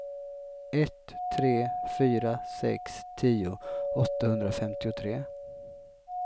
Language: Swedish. ett tre fyra sex tio åttahundrafemtiotre